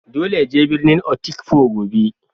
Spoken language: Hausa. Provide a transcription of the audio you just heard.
Dolle ya je birnin Otukpo gobe.